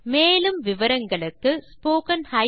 மேற்கொண்டு விவரங்கள் வலைத்தளத்தில் கிடைக்கும்